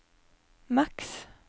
maks